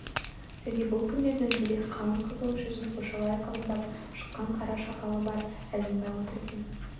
және бұл күнде дөңгелек қалың қызыл жүзін қоршалай қабындап шыққан қара сақалы бар әзімбай отыр екен